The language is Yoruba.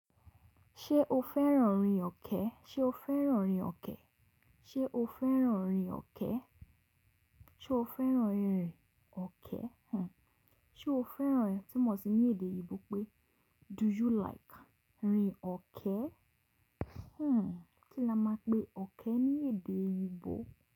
Ṣé o fẹ́ràn rin ọ̀kẹ́? Ṣé o fẹ́ràn rin ọ̀kẹ́? Ṣé o fẹ́ràn rin ọ̀kẹ́? Ṣo fẹ́ràn irin ọ̀kẹ́? Mm Ṣo fẹ́ràn tu mọ sì èdè eyi o pé do you like rin ọ̀kẹ́? Mm kí la máa pe ọ̀kẹ́ ní èdè eyibo.